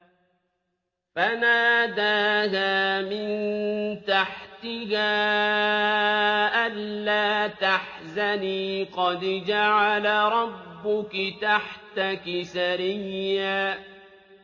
فَنَادَاهَا مِن تَحْتِهَا أَلَّا تَحْزَنِي قَدْ جَعَلَ رَبُّكِ تَحْتَكِ سَرِيًّا